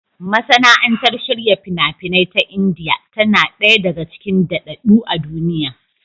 Masana'antar shirya fina-finai ta Indiya tana ɗaya daga cikin daɗaɗɗu a duniya.